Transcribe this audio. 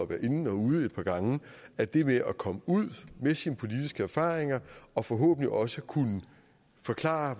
være inde og ude et par gange at det med at komme ud med sine politiske erfaringer og forhåbentlig også kunne forklare